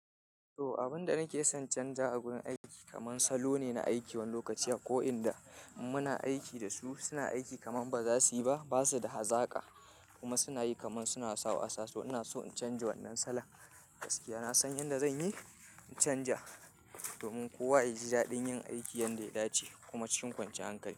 To, abin da nake son canja a wurin aiki kaman salo ne na aiki wani lokaci ko inda muna aiki da su suna aiki kaman ba za su yi ba, ba su da hazaƙa kuma suna yi kaman suna sa wasa su. Ina so in canja wannan salon gaskiya. Na san yanda zan yi in canja domin kowa ya ji daɗin yin aiki yadda ya dace kuma cikin kwanciyar hankali.